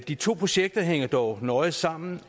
de to projekter hænger dog nøje sammen